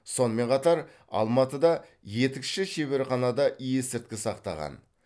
сонымен қатар алматыда етікші шеберханада есірткі сақтаған